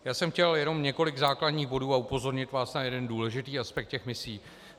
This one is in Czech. Já jsem chtěl jenom několik základních bodů a upozornit vás na jeden důležitý aspekt těch misí.